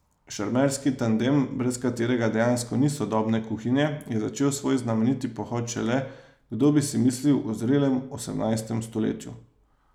Šarmerski tandem, brez katerega dejansko ni sodobne kuhinje, je začel svoj znameniti pohod šele, kdo bi si mislil, v zrelem osemnajstem stoletju.